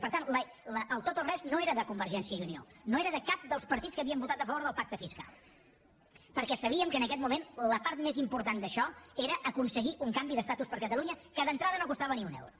i per tant el tot o res no era de convergència i unió no era de cap dels partits que havíem votat a favor del pacte fiscal perquè sabíem que en aquest moment la part més important d’això era aconseguir un canvi d’estatus per a catalunya que d’entrada no costava ni un euro